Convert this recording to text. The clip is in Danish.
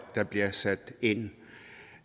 der bliver sat ind